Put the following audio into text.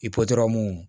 I pɔtɔ mun